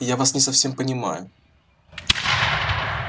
я вас не совсем понимаю